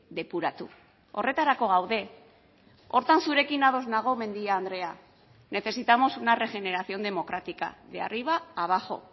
depuratu horretarako gaude horretan zurekin ados nago mendia andrea necesitamos una regeneración democrática de arriba abajo